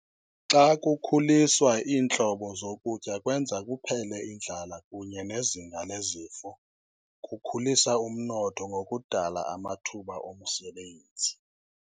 Xa kukhuliswa iintlobo zokutya kwenza kuphele indlala kunye nezinga lezifo, kukhulisa umnotho ngokudala amathuba omsebenzi.